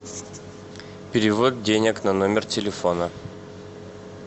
перевод денег на номер телефона